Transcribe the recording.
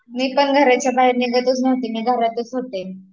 मी पण घरच्या बाहेर निघतच नव्हते, मी घरातच होते